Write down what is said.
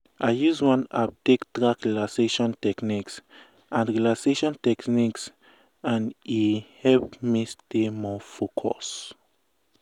i use one app take track relaxation techniques and relaxation techniques and e help me stay more focus.